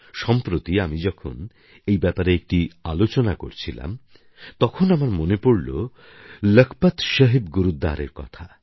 সম্প্রতি আমি যখন এই ব্যাপারে একটি আলোচনা করছিলাম তখন আমার মনে পড়ল লখপত সাহিব গুরুদ্বারএর কথা